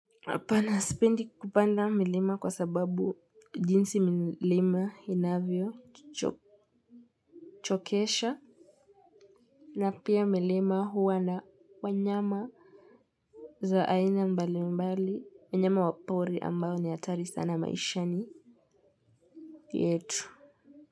Hapana spendi kupanda milima kwa sababu jinsi milima inavyo chokesha na pia milima huwa na wanyama za aina mbali mbali wanyama wapori ambao ni hatari sana maishani yetu.